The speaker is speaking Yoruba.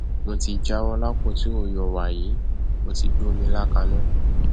mo ti jáwọ lápọn tí ò yọ wàyí mo ti gbómi ilá kaná